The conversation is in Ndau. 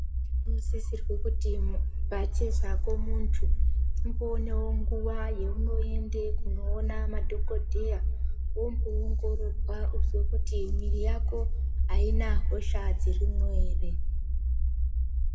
Tinosisirwe kuti pachezvako muntu umbonevo nguva yaunoende kunoona madhogodheya, vomboongororwa vozwe kuti mwiri yako haina hosha dzirimwo ere.